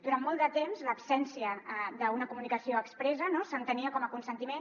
durant molt de temps l’absència d’una comunicació expressa s’entenia com a consentiment